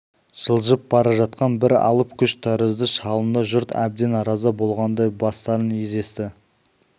жылжып бара жатқан бір алып күш тәрізді шалынды жұрт әбден разы болғандай бастарын изесті